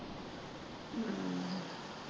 ਅਮ